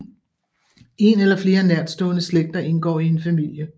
En eller flere nærstående slægter indgår i en familie